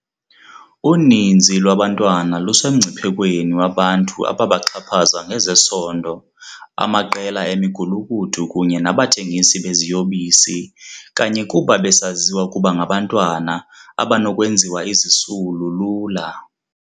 Uninzi lwabantwana lusemngciphe kweni wabantu ababaxhaphaza ngezesondo, amaqela emigulukudu kunye nabathengisi beziyobisi kanye kuba besaziwa ukuba ngabantwana abanokwenziwa izisulu lula.